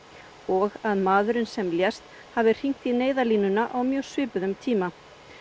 og að maðurinn sem lést hafi hringt í Neyðarlínuna á mjög svipuðum tíma